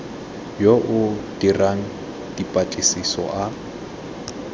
yo o dirang dipatlisiso a